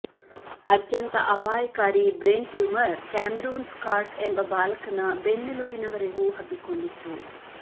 ಅತ್ಯಂತ ಅಪಾಯಕಾರಿ brain tumour Cameron Scott ಎಂಬ ಬಾಲಕನ ಬೆನ್ನೆಲುಬಿನವರೆಗೂ ಹಬ್ಬಿಕೊಂಡಿತ್ತು